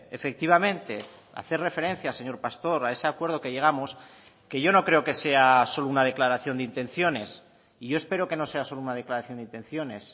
efectivamente hacer referencia señor pastor a ese acuerdo que llegamos que yo no creo que sea solo una declaración de intenciones y yo espero que no sea solo una declaración de intenciones